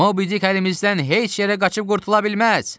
Mobidik əlimizdən heç yerə qaçıb qurtula bilməz!